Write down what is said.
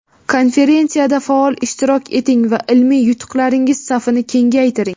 Konferensiyada faol ishtirok eting va ilmiy yutuqlaringiz safini kengaytiring!.